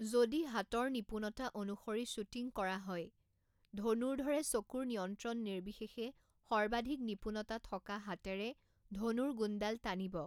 যদি হাতৰ নিপুণতা অনুসৰি শ্বুটিং কৰা হয়, ধনুৰ্ধৰে চকুৰ নিয়ন্ত্ৰণ নিৰ্বিশেষে সৰ্বাধিক নিপুণতা থকা হাতেৰে ধনুৰ গুণডাল টানিব।